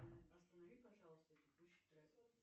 останови пожалуйста текущий трек